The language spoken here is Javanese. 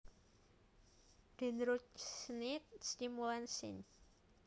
Dendrocnide stimulans syn